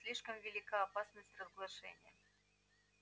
слишком велика опасность разглашения